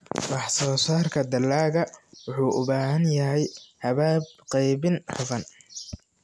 Wax-soo-saarka dalagga wuxuu u baahan yahay habab qaybin hufan.